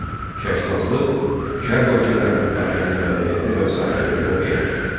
Şərqşünaslıq şərq ölkələrinin tarixini, mədəniyyətini və sair öyrənən elm.